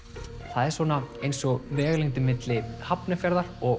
það er svona eins og vegalengdin milli Hafnarfjarðar og